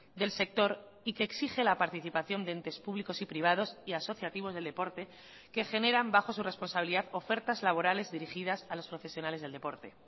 del sector y que exige la participación de entes públicos y privados y asociativos del deporte que generan bajo su responsabilidad ofertas laborales dirigidas a los profesionales del deporte